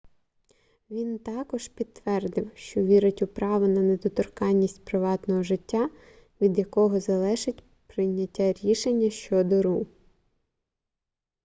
він також підтвердив що вірить у право на недоторканність приватного життя від якого залежить прийняття рішення щодо ру